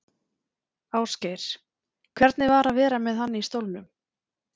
Ásgeir: Hvernig var að vera með hann í stólnum?